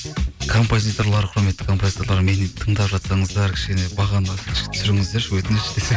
композиторлар құрметті композиторлар мені енді тыңдап жатсаңыздар кішкене бағаны түсіріңіздерші өтініш десең